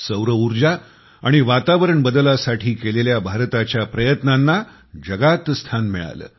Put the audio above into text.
सौर उर्जा आणि वातावरण बदलासाठी केलेल्या भारताच्या प्रयत्नांना जगात स्थान मिळालं